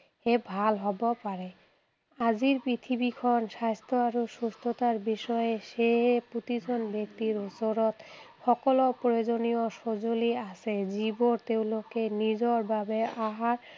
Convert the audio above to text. তে ভাল হʼব পাৰে। আজিৰ পৃথিৱীখন স্বাস্থ্য আৰু সুস্থতাৰ বিষয়ে সেয়ে প্ৰতিজন ব্যক্তিৰ ওচৰত সকলো প্ৰয়োজনীয় সজুঁলি আছে, যি বোৰ তেঁওলোক নিজৰ বাবে আহাৰ